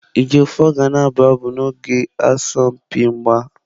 Ejiofor ga na-abụ abụ n'oge asọmpi mgba.